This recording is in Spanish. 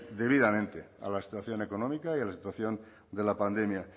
debidamente a la situación económica y a la situación de la pandemia